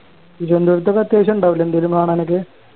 തിരുവന്തുരത്ത് ഒക്കെ അത്യാവശ്യം ഇണ്ടാവൂലെ എന്തേലും കാണാനൊക്കെ